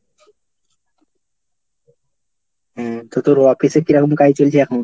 হম তো তোর office এ কিরকম কাজ চলছে এখন?